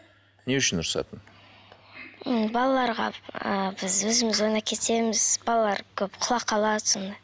не үшін ұрысатын м балаларға ыыы біз өзіміз ойнап кетеміз балалар көп құлап қалады сондай